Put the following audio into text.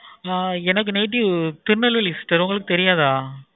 ஆஹ் எனக்கு native Tirunelveli sister உங்களுக்கு தெரியாதா